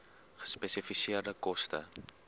gespesifiseerde koste